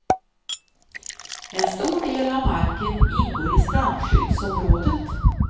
En stor del av marken ingår i strandskyddsområdet.